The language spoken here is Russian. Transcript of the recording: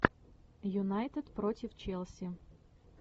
юнайтед против челси